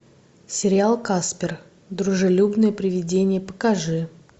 сериал каспер дружелюбное привидение покажи